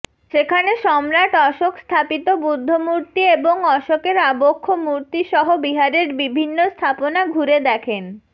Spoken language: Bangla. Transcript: সেখানে সম্রাট অশোক স্থাপিত বুদ্ধমূর্তি এবং অশোকের আবক্ষ মূর্তিসহ বিহারের বিভিন্ন স্থাপনা ঘুরে দেখেন